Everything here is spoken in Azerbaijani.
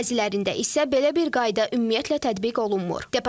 Bəzilərində isə belə bir qayda ümumiyyətlə tətbiq olunmur.